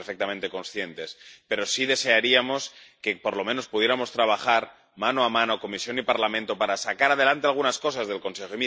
Somos perfectamente conscientes, pero sí desearíamos que, por lo menos, pudiéramos trabajar mano a mano Comisión y Parlamento para sacar adelante algunas cosas del Consejo.